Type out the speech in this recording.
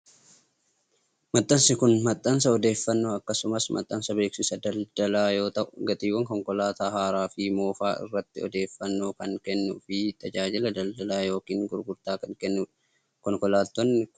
Maxxansi kun, maxxansa odeeffannoo akkasumas maxxansa beeksisa daldalaa yoo ta'u, gatiiwwan konkolaataa haaraa fi moofaa irratti odeeffannoo kan kennuu fi tajaajila daldalaa yokin gurgurtaa kan kennuudha. Konkolaatonni kunneen, kan tajaajilanii fi haarawa dha.